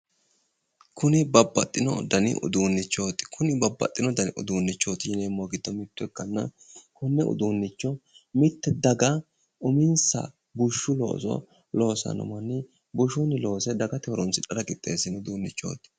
Kuni babbaxxino dani uduunnichooti kuni babbaxxino dani uduunnichooti yineemmohu giddo mitto ikkanna konne uduunnicho mitte daga uminsa bushu looso loossanno manni bushunni loosse dagate horoonsidhara qixxeessitino uduunnichooti